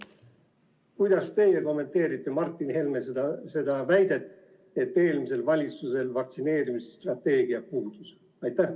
Kuidas teie kommenteerite Martin Helme väidet, et eelmisel valitsusel vaktsineerimisstrateegia puudus?